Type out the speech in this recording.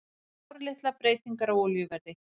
Sáralitlar breytingar á olíuverði